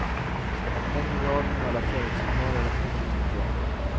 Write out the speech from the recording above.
En i raden av alla förutsägbara rapporter, tänkte jag.